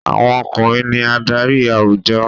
Àwọn ọkùnrin ní adarí àwùjọ.